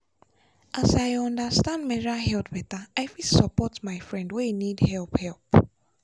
as i understand menstrual health better i fit support my friend wey need help. help.